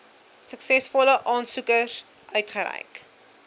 suksesvolle aansoekers uitgereik